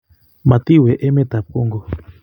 Matawe emet ab Congo